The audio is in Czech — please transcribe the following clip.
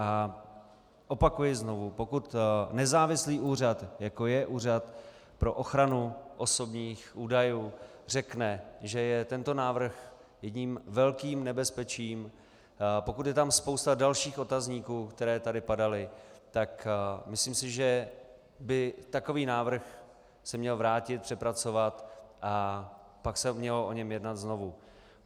A opakuji znovu, pokud nezávislý úřad, jako je Úřad pro ochranu osobních údajů, řekne, že je tento návrh jedním velkým nebezpečím, pokud je tam spousta dalších otazníků, které tady padaly, tak myslím si, že by takový návrh se měl vrátit, přepracovat a pak se mělo o něm jednat znovu.